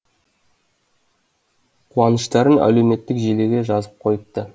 қуаныштарын әлеуметтік желіге жазып қойыпты